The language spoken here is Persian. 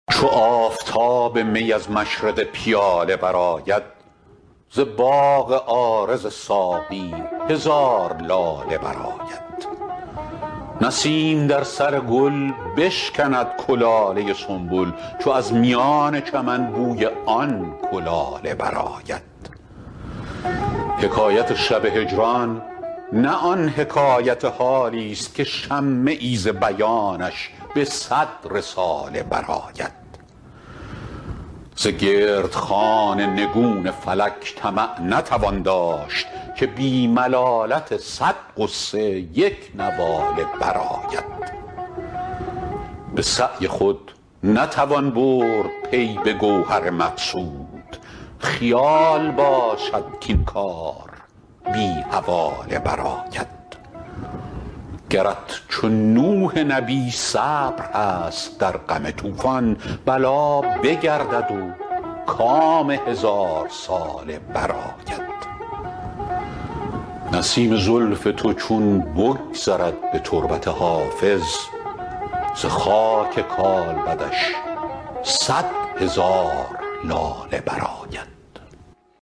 چو آفتاب می از مشرق پیاله برآید ز باغ عارض ساقی هزار لاله برآید نسیم در سر گل بشکند کلاله سنبل چو از میان چمن بوی آن کلاله برآید حکایت شب هجران نه آن حکایت حالیست که شمه ای ز بیانش به صد رساله برآید ز گرد خوان نگون فلک طمع نتوان داشت که بی ملالت صد غصه یک نواله برآید به سعی خود نتوان برد پی به گوهر مقصود خیال باشد کاین کار بی حواله برآید گرت چو نوح نبی صبر هست در غم طوفان بلا بگردد و کام هزارساله برآید نسیم زلف تو چون بگذرد به تربت حافظ ز خاک کالبدش صد هزار لاله برآید